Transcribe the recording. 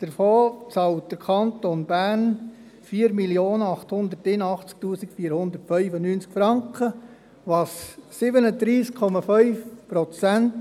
Davon bezahlt der Kanton Bern 4 881 495 Franken, was 37,5 Prozent